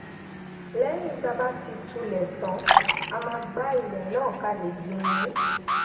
léyìn tá bá ti túlè tán a máa gbá ilè náà ká lè gbìn ín